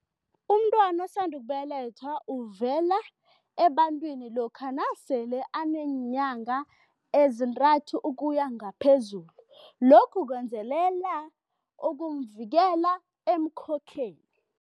Umntwana osanda ukubelethwa uvela ebantwini lokha nasele aneenyanga ezintathu ukuya ngaphezulu. Lokhu kwenzelela ukumvikela emikhokheni.